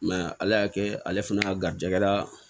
ala y'a kɛ ale fana garijɛgɛla